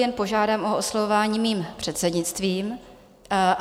Jen požádám o oslovování mým předsednictvím.